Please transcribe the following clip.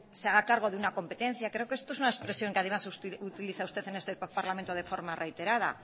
se haga cargo de una competencia creo que esto es una expresión que además utiliza usted en este parlamento de forma reiterada